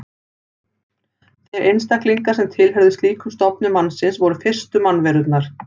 Þeir einstaklingar sem tilheyrðu slíkum stofni mannsins voru fyrstu mannverurnar.